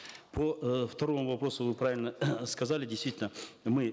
по э второму вопросу вы правильно сказали действительно мы